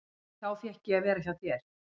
Þá fékk ég að vera hjá þér.